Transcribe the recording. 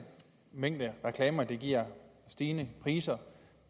mængde reklamer giver stigende priser